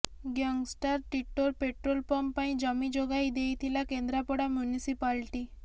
gangster ଟିଟୋର petrol pump ପାଇଁ ଜମି ଯୋଗାଇ ଦେଇଥିଲା କେନ୍ଦ୍ରାପଡ଼ା ମ୍ୟୁନିସିପାଲଟି